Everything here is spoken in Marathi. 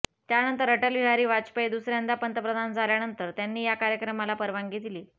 त्यानंतर अटल बिहारी वाजपेयी दुसऱ्यांदा पंतप्रधान झाल्यानंतर त्यांनी या कार्यक्रमाला परवानगी दिली